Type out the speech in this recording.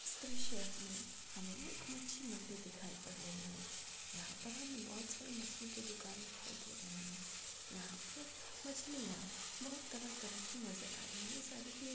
इस दर्सय मे हमे एक मच्छी मंडी दिखाई पड़ रही है यहा पर हम बहुत सारी मछली की दुकान दिखाई दे रहे है यहा पे मच्छलिया बहुत तरह तरह की नज़र आ रही है सारी की--